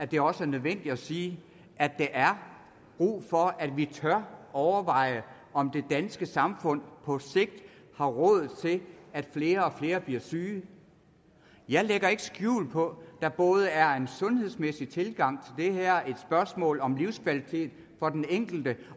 det også er nødvendigt at sige at der er brug for at vi tør overveje om det danske samfund på sigt har råd til at flere og flere bliver syge jeg lægger ikke skjul på der både er en sundhedsmæssig tilgang det er et spørgsmål om livskvalitet for den enkelte